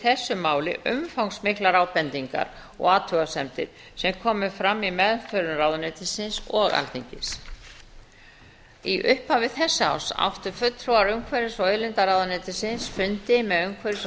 þessu máli umfangsmiklar ábendingar og athugasemdir sem komu fram í meðförum ráðuneytisins og alþingis í upphafi þessa árs áttu fulltrúar umhverfis og auðlindaráðuneytisins fundi með umhverfis og